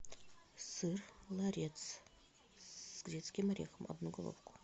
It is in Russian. сыр ларец с грецким орехом одну головку